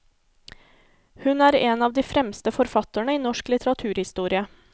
Hun er en av de fremste forfatterne i norsk litteraturhistorie.